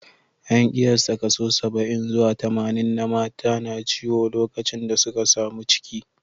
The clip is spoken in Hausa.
An kiyasta kaso saba'in zuwa tamanin na mata na ciwo lokacin da suka samu ciki